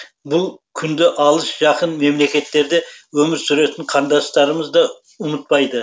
бұл күнді алыс жақын мемлекеттерде өмір сүретін қандастарымыз да ұмытпайды